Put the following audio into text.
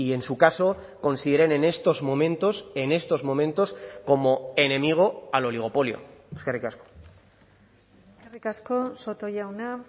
en su caso consideren en estos momentos en estos momentos como enemigo al oligopolio eskerrik asko eskerrik asko soto jauna